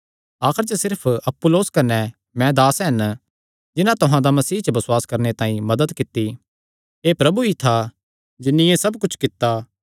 आखर च सिर्फ अपुल्लोस कने मैं दास हन जिन्हां तुहां दा मसीह च बसुआस करणे तांई मदत कित्ती एह़ प्रभु ई था जिन्नी एह़ सब कुच्छ कित्ता